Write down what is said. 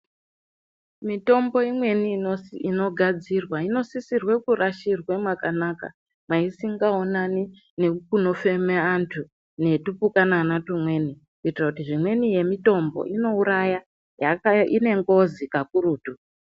Mitombo imweni inogadzirwa inosisirwa kurashirwa mwakanaka maisingaonani nekunofemerwa antu netuana twumweni kuitira kuti zvimweni yemitombo inouraya ine ngozi kakurutu.